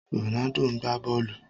Ronaldo ń gbá bọ́ọ̀lù.